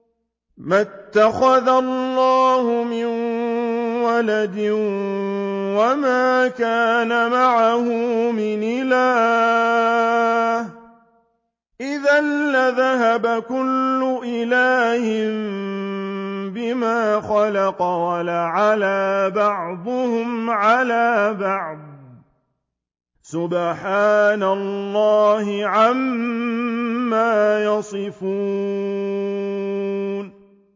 مَا اتَّخَذَ اللَّهُ مِن وَلَدٍ وَمَا كَانَ مَعَهُ مِنْ إِلَٰهٍ ۚ إِذًا لَّذَهَبَ كُلُّ إِلَٰهٍ بِمَا خَلَقَ وَلَعَلَا بَعْضُهُمْ عَلَىٰ بَعْضٍ ۚ سُبْحَانَ اللَّهِ عَمَّا يَصِفُونَ